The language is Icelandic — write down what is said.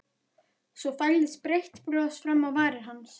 Svo færðist breitt bros fram á varir hans.